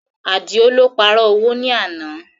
Àdìó lọ pààrọ̀ owó ní àná